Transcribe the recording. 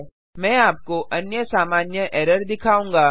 मैं आपको अन्य सामान्य एरर दिखाऊँगा